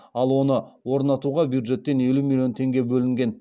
ал оны орнатуға бюджеттен елу миллион теңге бөлінген